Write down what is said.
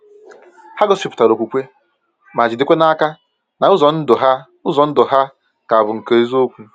Ha gosipụtara okwukwe, ma jidekwa n’aka na ụzọ ndụ ha ụzọ ndụ ha ka bụ nke eziokwu.